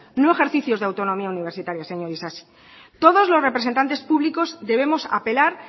no ejercicios de autonomía universitaria señor isasi todos los representantes públicos debemos apelar